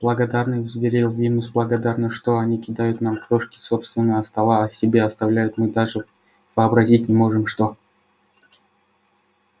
благодарны взревел венус благодарны что они кидают нам крошки с собственного стола а себе оставляют мы даже вообразить не можем что